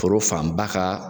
Foro fanba ka